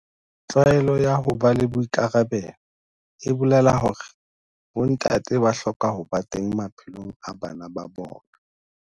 Tlwaelo ya ho ba le boikarabelo e bolela hore bontate ba hloka ho ba teng maphelong a bana ba bona.